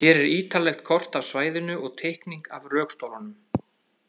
Hér er ítarlegt kort af svæðinu og teikning af rökstólunum.